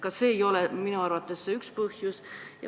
See on minugi arvates üks põhjus.